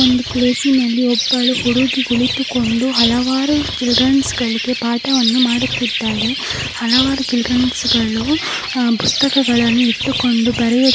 ಒಂದು ಪ್ಲೇಸಿನಲ್ಲಿ ಒಬ್ಬಳು ಹುಡುಗಿ ಕುಳಿತುಕೊಂಡು ಹಲವಾರು ಚಿಲ್ದ್ರೆನ್ಸ್ಗಳಿಗೆ ಪಾಠವನ್ನು ಮಾಡುತ್ತಿದ್ದಾಳೆ. ಹಲವಾರು ಚಿಲ್ದ್ರೆನ್ಸ್ಗಳು ಅಹ್ ಪುಸ್ತಕಗಳನ್ನು ಇಟ್ಟುಕೊಂಡು ಬರೆಯು --